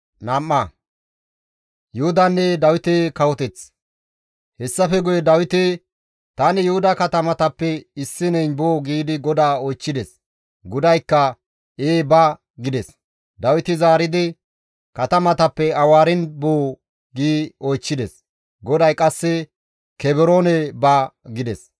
Hessafe guye Dawiti, «Tani Yuhuda katamatappe issineyn boo?» giidi GODAA oychchides. GODAYKKA, «Ee ba» gides. Dawiti zaaridi, «Katamatappe awaarin boo?» gi oychchides. GODAY qasse, «Kebroone ba» gides.